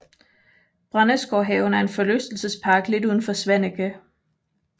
Brændesgårdshaven er en forlystelsespark lidt uden for Svaneke